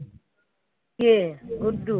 কে? Guddu